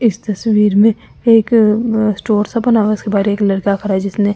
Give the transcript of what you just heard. इस तस्वीर में एक स्टोर सा बना हुआ है उसके बारे एक लड़का करा है जिसने--